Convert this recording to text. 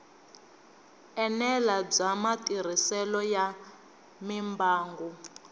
enela bya matirhiselo ya mimbangu